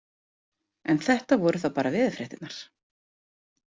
En þetta voru þá bara veðurfréttirnar.